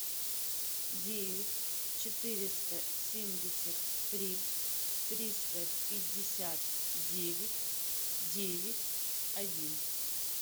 девять четыреста семьдесят три триста пятьдесят девять девять один